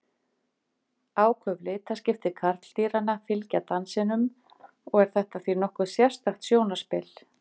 áköf litaskipti karldýranna fylgja dansinum og er þetta því nokkuð sérstakt sjónarspil